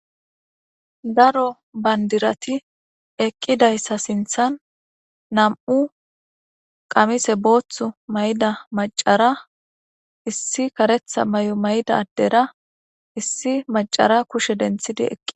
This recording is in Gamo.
Daro bandirati eqidaysa sinthan nam'u qamise boothu mayida macara issi karetha mayo mayida addera issi macara kushe denthidi eqida.